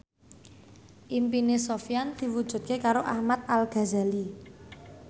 impine Sofyan diwujudke karo Ahmad Al Ghazali